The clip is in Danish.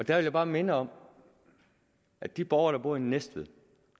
jeg bare minde om at de borgere der bor i næstved